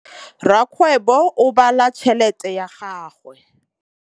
Rakgwêbô o bala tšheletê ya gagwe.